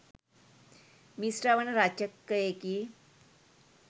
මිශ්‍රවන රචකයෙකි.